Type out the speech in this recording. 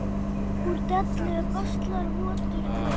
Úr dellu baslar votur gaur.